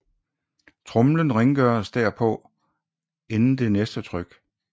Tromlen rengøres derpå inden det næste tryk